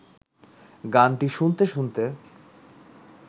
গানটি শুনতে শুনতে